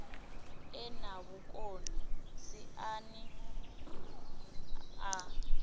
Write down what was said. e na vhukoni siani ḽa